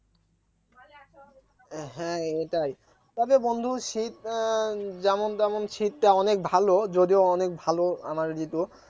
হ্যাঁ এটাই তবে বন্ধু শীত উম যেমন তেমন শীতটা অনেক ভালো যদিও অনেক ভালো আমাদের ঋতু